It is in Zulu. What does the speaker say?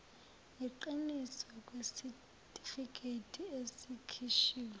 yiqiniso kwesitifiketi esikhishiwe